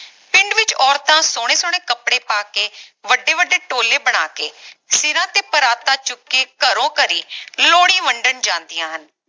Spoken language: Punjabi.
ਪਿੰਡ ਵਿਚ ਔਰਤਾਂ ਸੋਹਣੇ ਸੋਹਣੇ ਕਪੜੇ ਪਾ ਕੇ ਵੱਡੇ ਵੱਡੇ ਟੋਲੇ ਬਣਾ ਕੇ ਸਿਰਾਂ ਤੇ ਪਰਾਤਾਂ ਚੁੱਕ ਕੇ ਘਰੋਂ ਘਰੀ ਲੋਹੜੀ ਵੰਡਣ ਜਾਂਦੀਆਂ ਹਨ